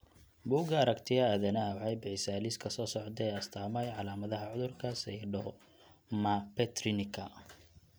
Bugga Aragtiyaha Aadanaha waxay bixisaa liiska soo socda ee astamaha iyo calaamadaha cudurka Pseudoaminopterinka.